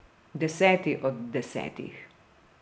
Deseti od desetih.